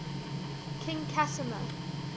king casimir